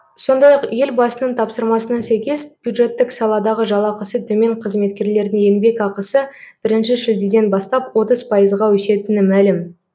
сондай ақ елбасының тапсырмасына сәйкес бюджеттік саладағы жалақысы төмен қызметкерлердің еңбекақысы бірінші шілдеден бастап отыз пайызға өсетіні мәлім